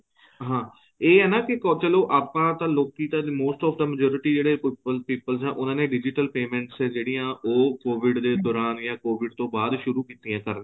ਹਾਂ ਇਹ ਨਾ ਕੀ ਚਲੋਂ ਆਪਾਂ ਤਾਂ ਲੋਕੀਂ ਤਾਂ most of the majority ਜਿਹੜੇ people ਏ ਉਹਨਾ ਨੇ digital payments ਹੈ ਜਿਹੜੀਆਂ ਉਹ COVID ਦੇ ਦੋਰਾਨ ਜਾਂ COVID ਤੋ ਬਾਅਦ ਸ਼ੁਰੂ ਕੀਤੀਆਂ ਕਰਨੀਆਂ